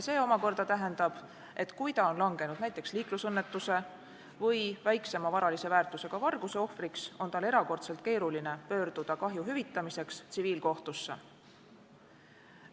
See omakorda tähendab, et kui ta on langenud näiteks liiklusõnnetuse või väiksema varalise väärtusega varguse ohvriks, on tal erakordselt keeruline pöörduda kahju hüvitamiseks tsiviilkohtusse.